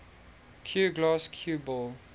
cuegloss cue ball